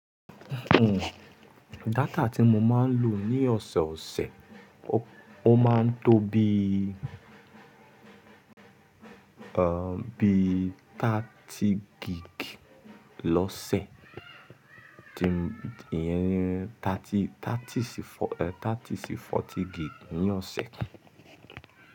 Hmm, data tí mo máa ń lò ní ọ̀sẹ̀ẹ̀ ọ̀sẹ̀, ó máa ń tó bí, ẹ́, bí 30 gig lọ́sẹ̀. Ìyẹn ní 30 sí 40 gig ní ọ̀sẹ̀.